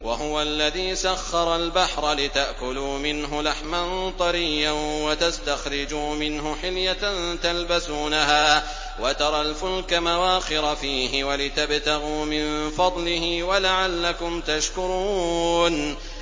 وَهُوَ الَّذِي سَخَّرَ الْبَحْرَ لِتَأْكُلُوا مِنْهُ لَحْمًا طَرِيًّا وَتَسْتَخْرِجُوا مِنْهُ حِلْيَةً تَلْبَسُونَهَا وَتَرَى الْفُلْكَ مَوَاخِرَ فِيهِ وَلِتَبْتَغُوا مِن فَضْلِهِ وَلَعَلَّكُمْ تَشْكُرُونَ